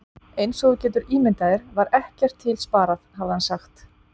Eins og þú getur ímyndað þér var ekkert til sparað, hafði hann sagt.